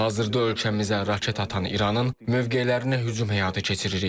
Hazırda ölkəmizə raket atan İranın mövqelərinə hücum həyata keçiririk.